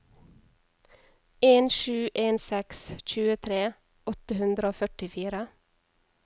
en sju en seks tjuetre åtte hundre og førtifire